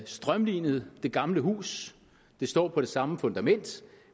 strømlinet det gamle hus det står på det samme fundament